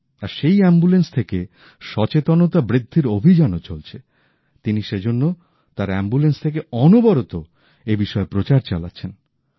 তার সেই অ্যাম্বুলেন্স থেকে সচেতনতা বৃদ্ধির অভিযানও চলছে তিনি সেজন্য তার অ্যাম্বুলেন্স থেকে অনবরত এ বিষয়ে প্রচার চালাচ্ছেন